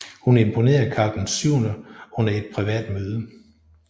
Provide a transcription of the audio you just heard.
Hun imponerede Karl VII under et privat møde